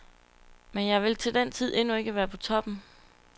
Men jeg vil til den tid endnu ikke være på toppen.